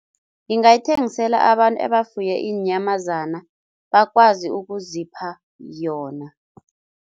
Ngingayithengisela abantu ebefuye iinyamazana, bakwazi ukuzipha yona.